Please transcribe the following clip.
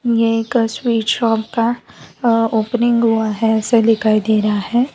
यह एक शॉप का ओपनिंग हुआ है ऐसे दिखाई दे रहा है।